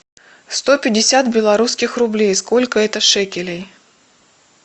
сто пятьдесят белорусских рублей сколько это шекелей